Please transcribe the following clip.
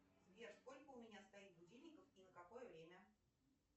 сбер сколько у меня стоит будильников и на какое время